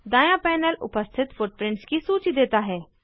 दाँया panel उपस्थित footprints की सूची देता है